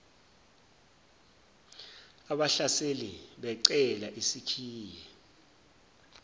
abahlaseli becela isikhiye